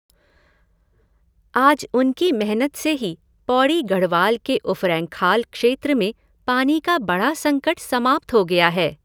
आज उनकी मेहनत से ही पौड़ी गढ़वाल के उफरैंखाल क्षेत्र में पानी का बड़ा संकट समाप्त हो गया है।